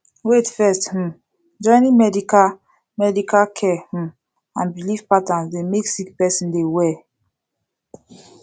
wait first um joining medical medical care um and bilif patterns dey mek sik peron dey well